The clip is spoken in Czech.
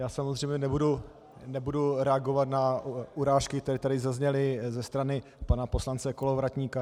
Já samozřejmě nebudu reagovat na urážky, které tady zazněly ze strany pana poslance Kolovratníka.